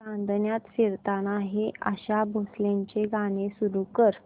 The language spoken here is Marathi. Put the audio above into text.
चांदण्यात फिरताना हे आशा भोसलेंचे गाणे सुरू कर